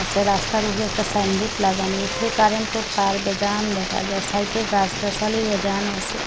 রাস্তার উপরে একটা সাইনবোর্ড লাগানি উপরে কারেন্টের তার বেজান দেখা যায় সাইডে গাছ গাছালি বেজান আছে।